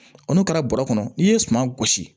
N'u kɛra bɔrɔ kɔnɔ n'i ye suma gosi